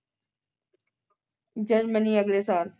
Germany ਅਗਲੇ ਸਾਲ।